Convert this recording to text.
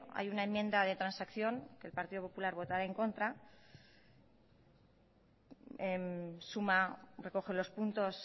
hay una enmienda de transacción que el partido popular votará en contra suma recoge los puntos